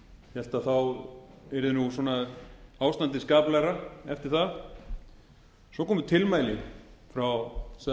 hélt að ástandið yrði skaplegra eftir það svo komu tilmæli frá